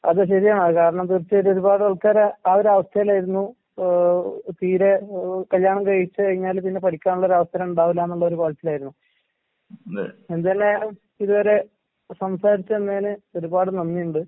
അത് ശെരിയാണ്. അത് കാരണം തീർച്ചയായിട്ടും ഒരുപാട് ആൾക്കാര് ആ ഒരവസ്ഥയിലായിരുന്നു. ഏഹ് തീരെ ഏഹ് കല്യാണം കഴിച്ച് കഴിഞ്ഞാൽ പിന്നെ പഠിക്കാനുള്ള ഒരവസരം ഇണ്ടാവൂല്ലാന്നുള്ളൊരു പറച്ചിലായിരുന്നു. എന്തായാലും ഇതുവരെ സംസാരിച്ച് നിന്നേന് ഒരുപാട് നന്ദിയുണ്ട്.